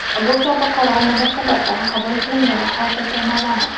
Bu kabi qaror nima sababdan qabul qilingani hozircha noma’lum.